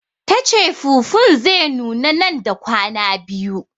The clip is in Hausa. Tace fufun zai nuna nan da kwana biyu